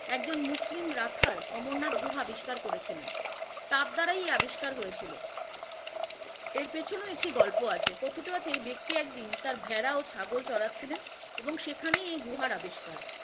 একজন মুসলিম রাখাল অমরনাথ গুহা আবিষ্কার করেছিলেন, তার দ্বারা এই আবিষ্কার হয়েছিল, এর পেছোনে একটি গল্প আছে, কথিত আছে এই ব্যাক্তি একদিন তার ভেড়া ও ছাগল চড়াচ্ছিলেন এবং সেখানেই এই গুহার আবিষ্কার।